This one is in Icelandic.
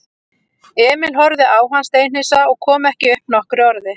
Emil horfði á hann steinhissa og kom ekki upp nokkru orði.